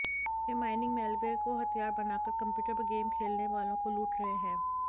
वे mining malware को हथियार बनाकर कंप्यूटर पर गेम खेलने वालों को लूट रहे हैं